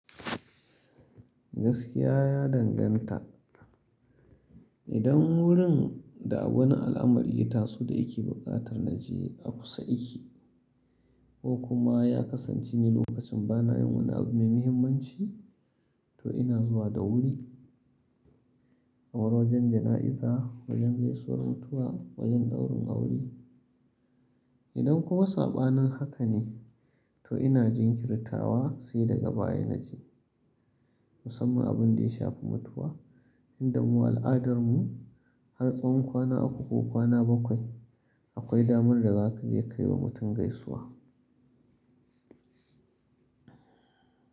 Gaskiya ya danganta. Idan wurin da wani al'amari ita su da ke buƙatar na je a kusa yake ko kuma ya kasance ne lokacin bana yin wani abu mai muhimmanci, to ina zuwa da wuri. Kamar wajen jana'iza, wajen gaisuwar mutuwa, wajen ɗaurin aure. Idan kuma saɓanin haka ne, to ina jinkirtawa sai daga baya na je. Musamman abin da ya shafi mutuwa, inda mu al'adarmu har tsawon kwana uku ko kwana bakwai akwai damar da zaka je ka yi wa mutum gaisuwa.